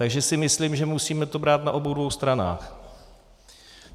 Takže si myslím, že to musíme brát na obou dvou stranách.